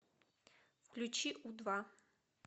включи у два